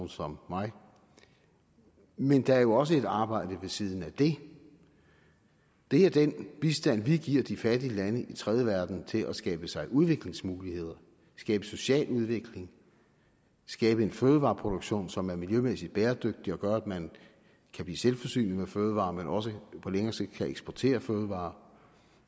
som mig men der er jo også et arbejde ved siden af det det er den bistand vi giver de fattige lande i den tredje verden til at skabe sig udviklingsmuligheder skabe social udvikling skabe en fødevareproduktion som er miljømæssigt bæredygtig og gør at man kan blive selvforsynende med fødevarer men også på længere sigt kan eksportere fødevarer